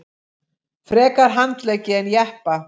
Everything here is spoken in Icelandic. Frekar handleggi en jeppa